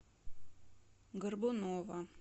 горбунова